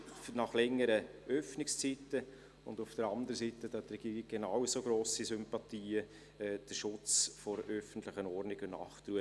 Auf der anderen Seite – dafür hat die Regierung genauso grosse Sympathien – gibt es den Schutz der öffentlichen Ordnung und Nachtruhe.